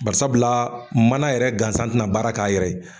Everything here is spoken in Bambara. Barisabula mana yɛrɛ gansan tɛna baara k'a yɛrɛ ye.